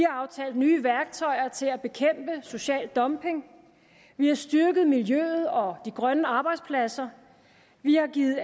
aftalt nye værktøjer til at bekæmpe social dumping vi har styrket miljøet og de grønne arbejdspladser vi har givet